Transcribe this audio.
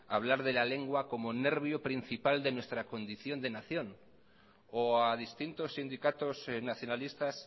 hablar de la lengua como nervio principal de nuestra condición de nación o a distintos sindicatos nacionalistas